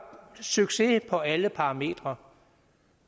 succes på alle parametre